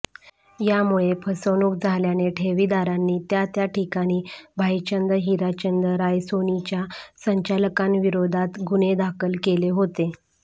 यामुळे फसवणुक झाल्याने ठेवीदारांनी त्या त्या ठिकाणी भाईचंद हिराचंद रायसोनीच्या संचालकांविरोधात गुन्हे दाखल केले होते